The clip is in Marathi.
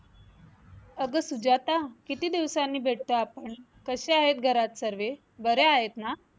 अगं सुजाता किती दिवसांनी भेटतो आपण कसे आहेत घरात सर्वे बरे आहेत ना?